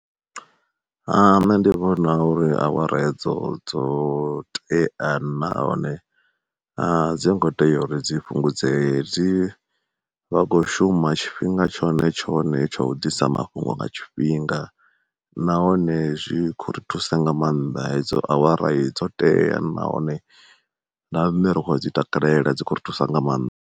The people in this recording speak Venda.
Nṋe ndi vhona uri awara hedzo dzo tea nahone a dzi ngo tea uri dzi fhungudzee, dzi vha kho shuma tshifhinga tshone tshone tsha u ḓisa mafhungo nga tshifhinga, nahone zwi khou ri thusa nga maanḓa hedzo awara dzo tea, nahone na riṋe ri khou dzi takalela dzi kho thusa nga maanḓa.